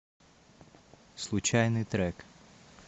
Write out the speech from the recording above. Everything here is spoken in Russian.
случайный трек